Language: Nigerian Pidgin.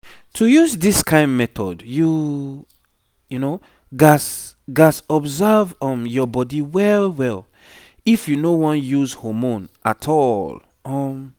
to use this kind method you gats gats observe um your body well well if you no wan use hormone at all um